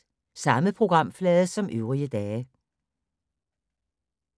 Samme programflade som øvrige dage